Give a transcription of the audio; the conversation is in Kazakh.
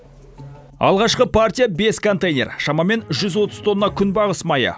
алғашқы партия бес контейнер шамамен жүз отыз тонна күнбағыс майы